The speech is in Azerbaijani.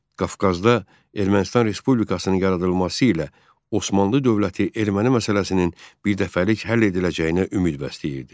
Qafqazda Ermənistan Respublikasının yaradılması ilə Osmanlı Dövləti erməni məsələsinin birdəfəlik həll ediləcəyinə ümid bəsləyirdi.